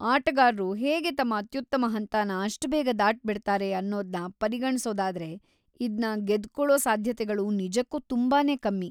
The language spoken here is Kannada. ಆಟಗಾರ್ರು ಹೇಗೆ ತಮ್ಮ ಅತ್ಯುತ್ತಮ ಹಂತನ ಅಷ್ಟ್‌ ಬೇಗ ದಾಟಿಬಿಡ್ತಾರೆ ಅನ್ನೋದ್ನ ಪರಿಗಣ್ಸೋದಾದ್ರೆ ಇದ್ನ ಗೆದ್ಕೊಳೋ ಸಾಧ್ಯತೆಗಳು ನಿಜಕ್ಕೂ ತುಂಬಾನೇ ಕಮ್ಮಿ.